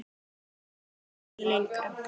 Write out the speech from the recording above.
Hann komst ekki lengra.